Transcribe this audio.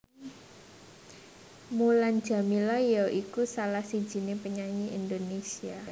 Mulan Jameela ya iku salah sijiné penyanyi Indonésia